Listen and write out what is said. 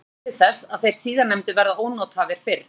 Þetta leiðir til þess að þeir síðarnefndu verða ónothæfir fyrr.